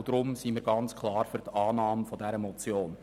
Deswegen sind wir ganz klar für die Annahme dieser Motion.